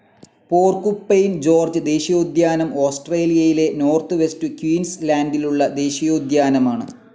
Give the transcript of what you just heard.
porcupine Gorge ദേശീയോദ്യാനം ഓസ്‌ട്രേലിയയിലെ north west ക്യൂൻസ്‌ ലാൻഡിലുള്ള ദേശീയോദ്യാനമാണ്